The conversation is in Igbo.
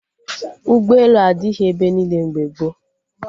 Ụgbọelu adịghị ebe niile mgbe gboo